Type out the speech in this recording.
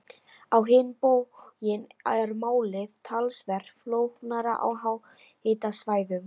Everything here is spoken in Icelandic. Á hinn bóginn er málið talsvert flóknara á háhitasvæðum.